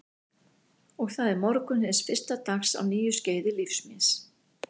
Og það er morgunn hins fyrsta dags á nýju skeiði lífs míns.